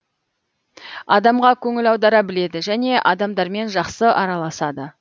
адамға көңіл аудара біледі және адамдармен жақсы аралас